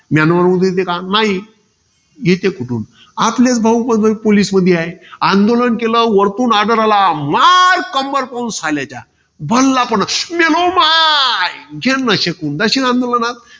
Myanmar वरून येते का? नाही. येते कुठून? आपलेच भाऊबंधक police मध्ये आहे. आंदोलन केलं. वरतून order आला. मार, कंबर तोड साल्याच्या. भानला पण, मेलो माय. जेन्न शेकून जाशील आंदोलनात?